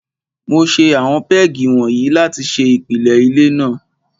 Mo ṣe àwọn pégì wọ̀nyí láti ṣe ìpìlẹ ilé náà.